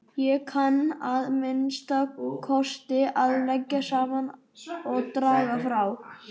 Ég kann að minnsta kosti að leggja saman og draga frá